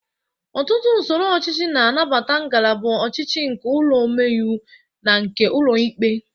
Ọtụtụ usoro ọchịchị na-anabata ngalaba ọchịchị nke ụlọ ome iwu na nke ụlọ ikpe.